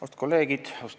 Austatud kolleegid!